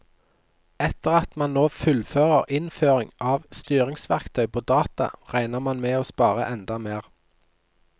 Etter at man nå fullfører innføring av styringsverktøy på data, regner man med å spare enda mer.